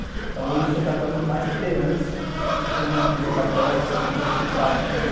Então hoje eu sou católico mais por herança, porque toda a minha família é católica, por ter um tio padre também,